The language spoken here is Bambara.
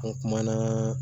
An kumana